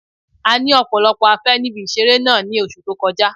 A ní ọ̀pọ̀lọpọ̀ afé níbi ìseré náà ní oṣù tó kọjá